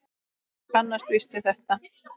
Þú kannast víst við þetta!